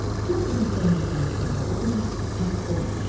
Tom kötəkləndikdən sonra o qədər pərt olmamışdı.